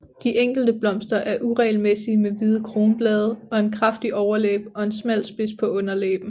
De enkelte blomster er uregelmæssige med hvide kronblade og en kraftig overlæbe og en smal spids på underlæben